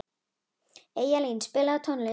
Eyjalín, spilaðu tónlist.